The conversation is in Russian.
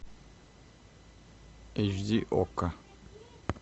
эйч ди окко